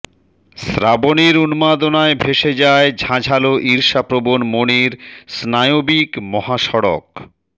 শ্রাবণের উন্মাদনায় ভেসে যায় ঝাঁঝালো ঈর্ষাপ্রবণ মনের স্নায়বিক মহাসড়ক